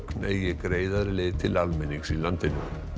eigi greiðari leið til almennings í landinu